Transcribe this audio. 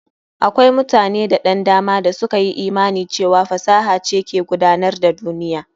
Akwai mutane da ɗan dama da suka yi imani cewa fasaha ce ke gudanar da duniya.